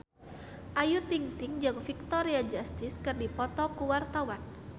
Ayu Ting-ting jeung Victoria Justice keur dipoto ku wartawan